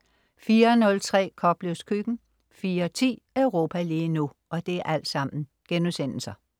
04.03 Koplevs Køkken* 04.10 Europa lige nu*